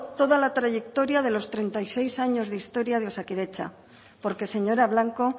toda la trayectoria de los treinta y seis años de historia de osakidetza porque señora blanco